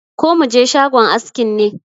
Ko mu je shagon askin ne?